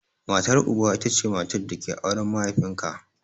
Matar Uba ita ce matar da ke auren mahaifin ka.